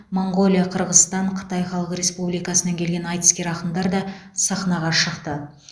моңғолия қырғызстан қытай халық республикасынан келген айтыскер ақындар да сахнаға шықты